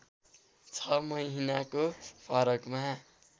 छ महिनाको फरकमा